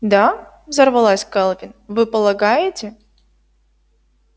да взорвалась кэлвин вы полагаете